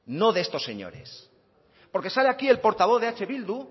no de estos señores porque sale aquí el portavoz de eh bildu